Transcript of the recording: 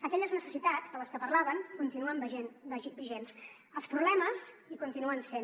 aquelles necessitats de les que parlaven continuen vigents els problemes hi continuen sent